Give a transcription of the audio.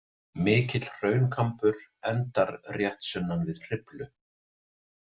Mikill hraunkambur endar rétt sunnan við Hriflu.